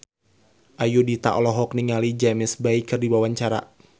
Ayudhita olohok ningali James Bay keur diwawancara